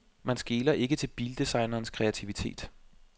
Man skeler ikke til bildesignernes kreativitet.